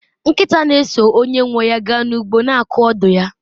nkịta na-eso onye nwe ya gaa n'ugbo, na-akụ ọdụ ya